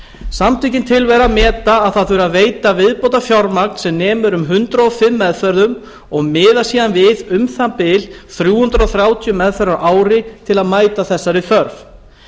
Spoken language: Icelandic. samtökin tilvera meta að það þurfi að veita viðbótarfjármagn sem nemur um hundrað og fimm meðferðum og miða síðan við um það bil þrjú hundruð þrjátíu meðferðir á ári til að mæta þessari þörf